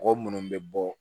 Mɔgɔ munnu bɛ bɔ